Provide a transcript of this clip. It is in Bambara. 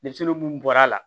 Denmisɛnnin mun bɔra a la